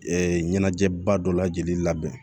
ɲɛnajɛba dɔ lajɛlen labɛn